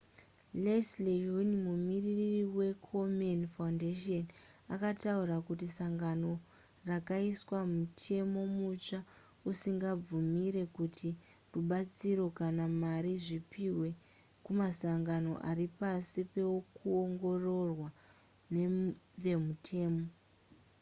leslie aun mumiririri wekomen foundation akataura kuti sangano rakaisa mutemo mutsva usingabvumire kuti rubatsiro kana mari zvipihwe kumasangano ari pasi pekuongororwa nevemutemo